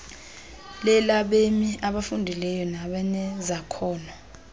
lelabemi abafundileyo nabanezakhono